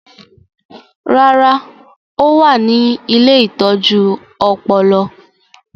Rárá, ó wà ní “ ilé ìtọ́jú ọpọlọ ”